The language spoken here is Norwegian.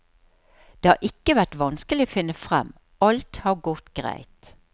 Det har ikke vært vanskelig å finne frem, alt har gått greit.